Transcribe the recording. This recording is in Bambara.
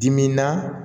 Dimin na